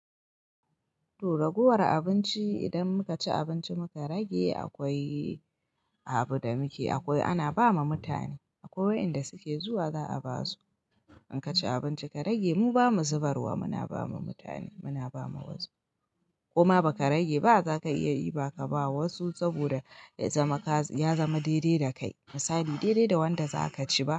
To raguwar abinci idan muka ci abinci muka rage akwai abu da muke akwai ana ba ma mutane akwai wayanda suke zuwa za a ba su. In kaci abinci ka rage mu ba mu zubar wa muna ba ma mutane muna ba ma wasu. Koma ba ka rage ba za ka iya iba ka ba wa wasu saboda ya zama kaza ya zama daidai da kai misali daidai da wanda za ka ci ba.